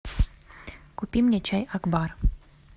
купи мне чай акбар